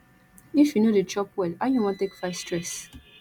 if you no dey chop well how you wan take fight stress